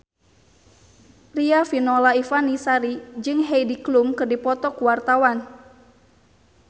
Riafinola Ifani Sari jeung Heidi Klum keur dipoto ku wartawan